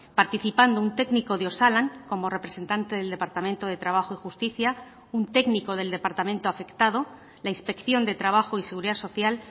participando un técnico de osalan como representante del departamento de trabajo y justicia un técnico del departamento afectado la inspección de trabajo y seguridad social